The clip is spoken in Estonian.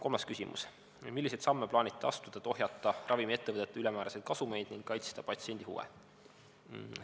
Kolmas küsimus: "Milliseid samme plaanite astuda, et ohjata ravimiettevõtete ülemääraseid kasumeid ning kaitsta patsiendi huve?